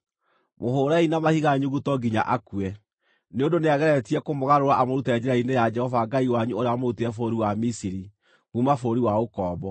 Mũhũũrei na mahiga nyuguto nginya akue, nĩ ũndũ nĩageretie kũmũgarũra amũrute njĩra-inĩ ya Jehova Ngai wanyu ũrĩa wamũrutire bũrũri wa Misiri, kuuma bũrũri wa ũkombo.